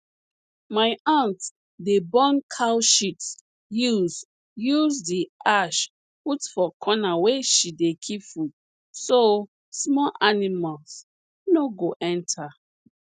my aunt dey burn cow sheat use use the ash put for corner where she dey keep food so small animals no go enter